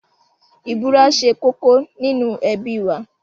Ìbúra ṣe kókó nínú ẹbí wa.